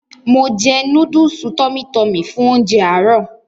Mo jẹ núdùùsì "TummyTummy" fún ounjẹ àárọ̀.